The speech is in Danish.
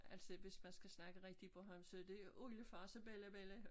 Altså hvis man skal snakke rigtig bornholmsk så det jo oldefar og så bellabella